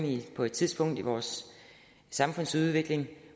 på et tidspunkt i vores samfundsudvikling